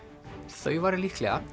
þau væru líklega